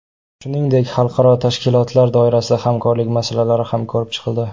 Shuningdek, xalqaro tashkilotlar doirasidagi hamkorlik masalalari ham ko‘rib chiqildi.